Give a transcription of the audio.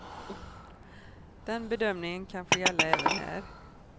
Den bedömningen kan få gälla även här.